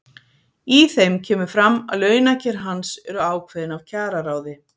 Í þeim kemur fram að launakjör hans eru ákveðin af kjararáði.